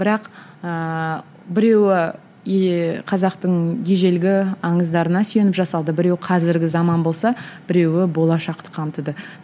бірақ ыыы біреуі қазақтың ежелгі аңыздарына сүйеніп жасалды біреуі қазіргі заман болса біреуі болашақты қамтыды